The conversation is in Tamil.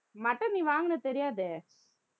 mutton நீ வாங்கினது தெரியாதே